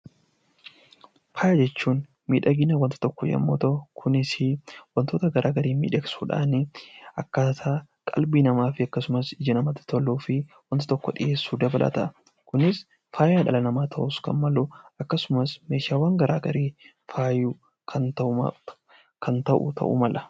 Faaya jechuun miidhagina wanta tokkoo yommuu ta'u, kunis wantoota gara garaa miidhagsuu dhaan akkaataa qalbii namaa fi akkasumas ijaa namaatti toluu fi wanta tokko dhiyeessuu dabalata. Kunus faaya dhala namaa ta'uus kan malu akkasumas meeshaawwan gara garee fayuuf kan ta'u ta'uu mala.